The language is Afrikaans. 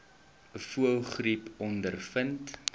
voëlgriep ondervind